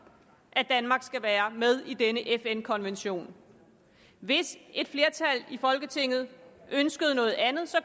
at danmark skal være med i denne fn konvention hvis et flertal i folketinget ønskede noget andet